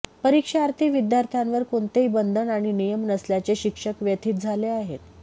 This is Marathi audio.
परीक्षार्थी विद्यार्थ्यांवर कोणतेही बंधन आणि नियम नसल्याने शिक्षक व्यथित झाले आहेत